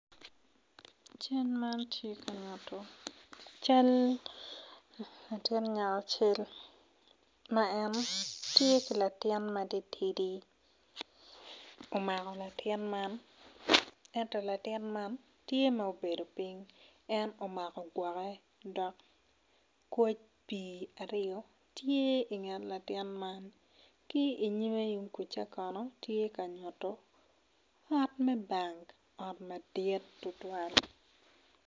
Cal man tye ka nyuto can latin ngat acel ma en tye ki latin matitidi omako latin man enyo latin man tye ma obedo piny en omako gwoke dok koc pi arye tye i nget latin man ki inyime yung kuca kono tye ka nyuto ot me bank ot madit tutwal.